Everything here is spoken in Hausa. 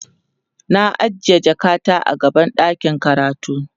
na ajiye jakata a gaban ɗakin karatu